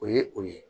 O ye o ye